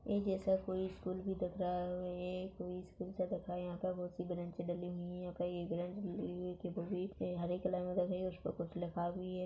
ए जैसा कोई स्कूल भी दिख रहा है और ये कोई स्कूल सा दिख रहा है यहाँ पे बहुत से बेंचे डली हुई है यहाँ पे हरे कलर में रंगी हुई है उस पे कुछ लिखा भी है।